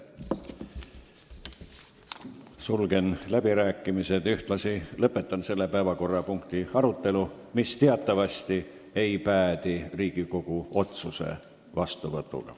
Sulgen läbirääkimised ja ühtlasi lõpetan selle päevakorrapunkti arutelu, mis teatavasti ei päädi Riigikogu otsuse vastuvõtmisega.